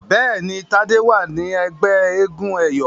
Béèni Tade wá ní ègbé éégun eyọ.